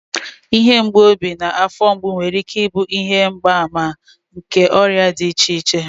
Ihe mgbu obi na afọ mgbu nwere ike ịbụ ihe mgbaàmà nke ọrịa dị iche iche